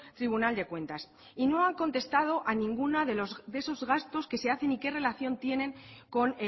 tribunal de cuentas y no han contestado a ninguna de esos gastos que se hacen ni que relación tienen con